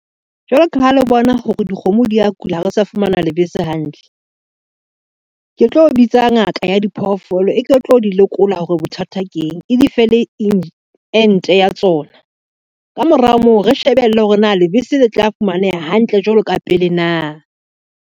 Jwalo ka ha le bona hore dikgomo di ya kula ha re sa fumana lebese hantle, ke tlo bitsa ngaka ya diphoofolo e ke tlo di lekola hore bothata ke eng e dife le ente ya tsona. Ka mora moo, re shebelle hore na lebese le tla fumaneha hantle jwalo ka pele na.